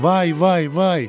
Vay, vay, vay!